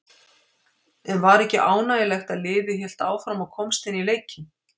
En var ekki ánægjulegt að liðið hélt áfram og komst inn í leikinn?